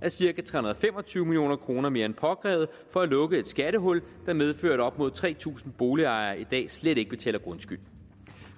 er cirka tre hundrede og fem og tyve million kroner mere end påkrævet for at lukke et skattehul der medførte at op mod tre tusind boligejere i dag slet ikke betaler grundskyld